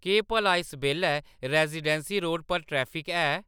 केह्‌‌ भला इस बेल्लै रेजीडेंसी रोड पर ट्रैफिक है